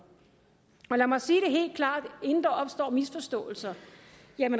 lad mig sige det helt klart inden der opstår misforståelser